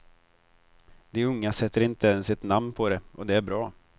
De unga sätter inte ens ett namn på det, och det är bra.